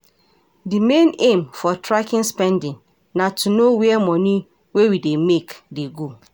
Di main aim for tracking spending na to know where money wey we dey make dey go